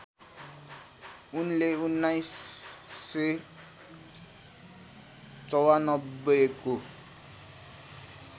उनले १९९४ को